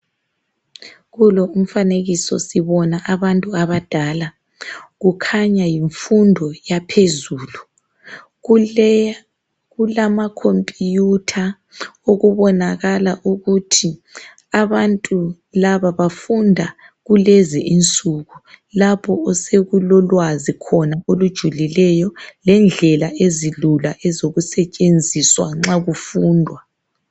Kulo umfanekiso sibona abantu abadala kukhanya yimfundo yaphezulu Kulama computer okubonakala ukuthi abantu laba bafunda kulezi insuku lapho osekulolwazi khona olujulileyo lendlela ezilula ezokusetshenziswa nxa kufundwa